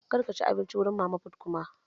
Kar ka ci abinci wurin mama fut koma!